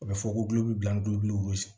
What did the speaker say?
U bɛ fɔ ko bila